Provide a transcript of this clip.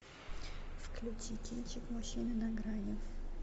включи кинчик мужчины на грани